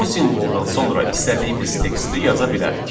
Bu simvoldan sonra istədiyimiz teksti yaza bilərik.